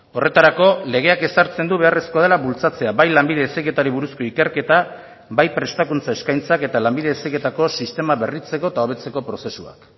horretarako legeak ezartzen du beharrezkoa dela bultzatzea bai lanbide heziketari buruzko ikerketa bai prestakuntza eskaintzak eta lanbide heziketako sistema berritzeko eta hobetzeko prozesuak